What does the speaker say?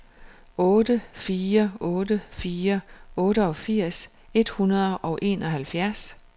otte fire otte fire otteogfirs et hundrede og enoghalvfjerds